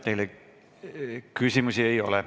Teile küsimusi ei ole.